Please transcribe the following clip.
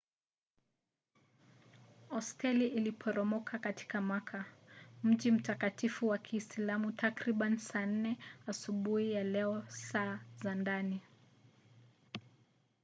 hosteli iliporomoka katika makka mji mtakatifu wa kiislamu takriban saa 4 asubuhi ya leo saa za ndani